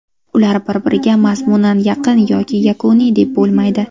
Ularni bir-biriga mazmunan yaqin yoki yakuniy deb bo‘lmaydi.